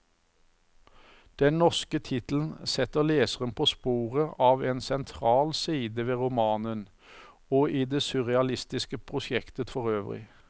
Den norske tittelen setter leseren på sporet av en sentral side ved romanen, og i det surrealistiske prosjektet forøvrig.